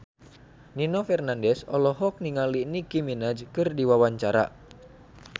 Nino Fernandez olohok ningali Nicky Minaj keur diwawancara